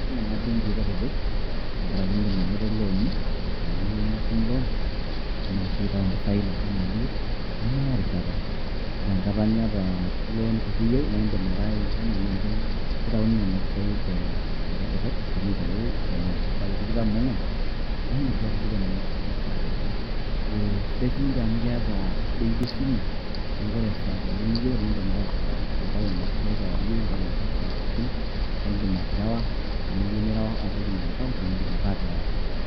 Ketum Kuna benkii kutitik, tengaraki eedim anoto looni esaa niyieu nitum loon eedim sii aitau empisai naaba enaa eniyieu nemeya erishata, ore enkata niata loon kiti eyieu edim ake aikuna naake keitauni Nena pisai te rishata drop, eidimi aitau Eton eng'orr esaai tikitam oo ng'uan naa eedim sii atushuko Nena pisai esaa pookin, ee sidai sininche amu keeta ebenki esimu , neaku ore esaa pookin niyieu naa eedim ake a aitau Nena pisai kewarie entau etaa esaa pookin naidim aterewa enaa eyieu nireu apik Ena account niterewa.